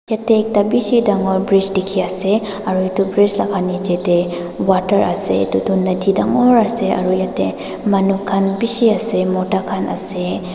ete ekta bishi dagor bridge dikhi ase aru etu bridge laga niche te water ase etu tu nodi dagor ase aru ete manu khan bishi ase mota khan ase.